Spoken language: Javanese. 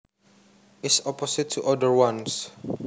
is opposite to other ones